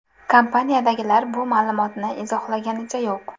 Kompaniyadagilar bu ma’lumotni izohlaganicha yo‘q.